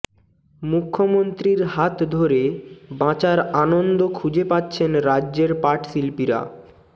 মুখ্যমন্ত্রীর হাত ধরে বাঁচার আনন্দ খুঁজে পাচ্ছেন রাজ্যের পটশিল্পীরা